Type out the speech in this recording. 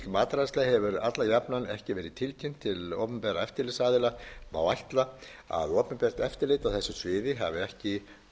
matreiðsla hefur alla jafna ekki verið tilkynnt til opinberra eftirlitsaðila má ætla að opinbert eftirlit á þessu sviði hafi ekki